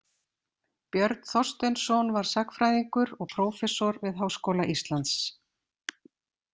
Björn Þorsteinsson var sagnfræðingur og prófessor við Háskóla Íslands.